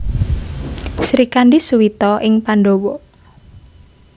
Srikandhi Suwita ing Pandhawa